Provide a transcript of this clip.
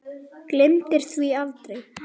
Gleymir því aldrei.